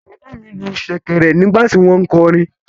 Bàbá mi lu ṣẹ̀kẹ̀rẹ̀ nígbà tí wọ́n ń kọrin.